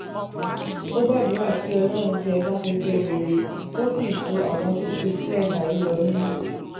ó gbàdúrà kí um ọlọ́run tẹ́ ẹ sáfẹ́fẹ́ rere kó sì tu àwọn tó fi sílẹ̀ um sáyé lọ nínú